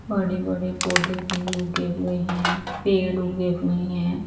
बड़े बड़े पोधे भी उगे हुए हैं पेड़ उगे हुए हैं।